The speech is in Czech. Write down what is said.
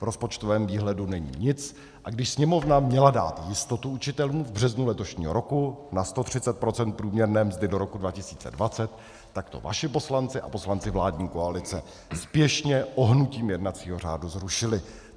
V rozpočtovém výhledu není nic, a když Sněmovna měla dát jistotu učitelům v březnu letošního roku na 130 % průměrné mzdy do roku 2020, tak to vaši poslanci a poslanci vládní koalice spěšně ohnutím jednacího řádu zrušili.